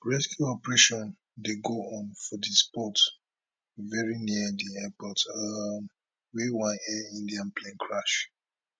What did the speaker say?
rescue operation dey go on for di spot very near di airport um wia one air india plane crash